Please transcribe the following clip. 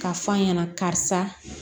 K'a fɔ a ɲɛna karisa